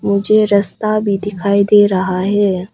मुझे रस्ता भी दिखाई दे रहा है।